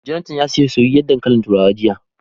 Jonathan ya siya soyayyen dankalin turawa jiya